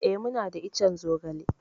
Eh, muna da ican zogale.